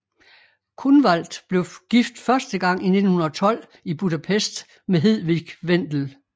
Kunwald blev gift første gang i 1912 i Budapest med Hedwig Vendel